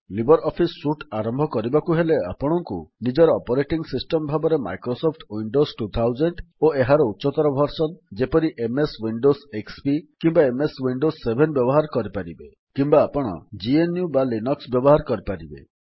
Libre office suite ଆରମ୍ଭ କରିବାକୁ ହେଲେ ଆପଣଙ୍କୁ ନିଜର ଅପରେଟିଙ୍ଗ୍ ସିଷ୍ଟମ୍ ଭାବରେ ମାଇକ୍ରୋସଫ୍ଟ ୱିଣ୍ଡୋସ୍ ୨୦୦୦ ଓ ଏହାର ଉଚ୍ଚତର ଭର୍ସନ୍ ଯେପରି ଏମଏସ୍ ୱିଣ୍ଡୋସ୍ ଏକ୍ସପି କିମ୍ୱା ଏମଏସ୍ ୱିଣ୍ଡୋସ୍ ୭ ବ୍ୟବହାର କରିପାରିବେ କିମ୍ୱା ଆପଣ GNUଲିନକ୍ସ ବ୍ୟବହାର କରିପାରିବେ